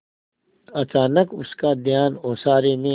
अचानक उसका ध्यान ओसारे में